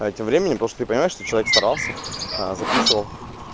а тем временем потому что ты понимаешь что человек старался записывал